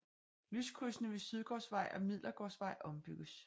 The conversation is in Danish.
Lyskrydsene ved Sydgårdsvej og Midlergårdsvej ombygges